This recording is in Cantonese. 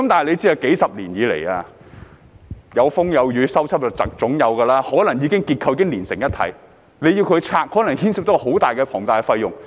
須知道數十年來有風有雨，總會有修葺，結構可能已經連成一體，居民要拆除的話，可能牽涉到龐大費用。